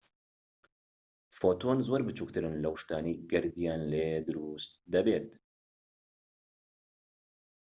فۆتۆن زۆر بچوکترن لەو شتانەی گەردیان لێ دروست دەبێت